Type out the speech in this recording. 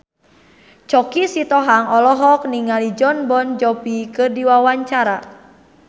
Choky Sitohang olohok ningali Jon Bon Jovi keur diwawancara